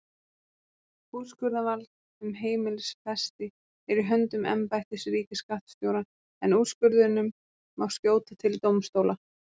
Úrskurðarvald um heimilisfesti er í höndum embættis ríkisskattstjóra en úrskurðinum má skjóta til dómstóla.